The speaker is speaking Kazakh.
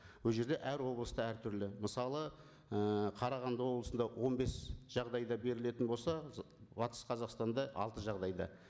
ол жерде әр облыста әртүрлі мысалы ііі қарағанды облысында он бес жағдайда берілетін болса батыс қазақстанда алты жағдайда